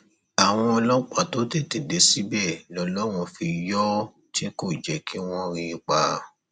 àwọn ọlọpàá tó tètè dé síbẹ lọlọrun fi yọ ọ tí kò jẹ kí wọn rí i pa